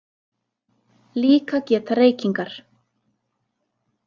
Líka geta reykingar